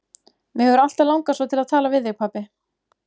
Mig hefur alltaf langað svo til að tala við þig, pabbi.